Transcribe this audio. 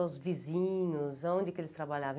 Os vizinhos, aonde que eles trabalhavam?